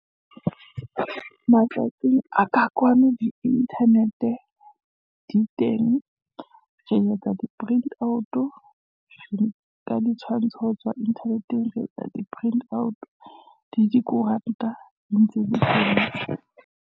Matsatsing a ka kwano di-internet-e di teng. Re etsa di-print out, ka di tshwantsho ho tswa internet-eng re etsa di-print out. Di dikoranta di ntse di Tv .